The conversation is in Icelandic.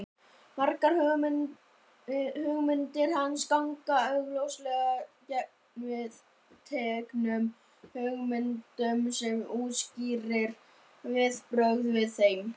margar hugmyndir hans ganga augljóslega gegn viðteknum hugmyndum sem útskýrir viðbrögðin við þeim